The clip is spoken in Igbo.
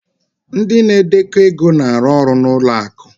ndị na-edekọ ego na-arụ ọrụ na ụlọ akụ